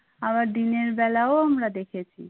আবার দিনের বেলাও আমরা দেখেছি